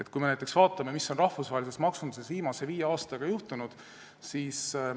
Vaatame näiteks, mis on rahvusvahelises maksunduses viimase viie aastaga juhtunud.